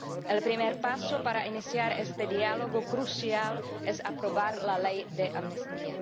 El primer paso para iniciar este diálogo crucial es aprobar la Ley de Amnistía.